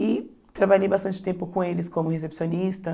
E trabalhei bastante tempo com eles como recepcionista.